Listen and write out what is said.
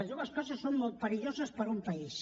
les dues coses són molt perilloses per a un país